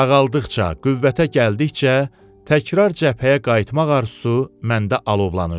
Sağaldıqca, qüvvətə gəldikcə, təkrar cəbhəyə qayıtmaq arzusu məndə alovlanırdı.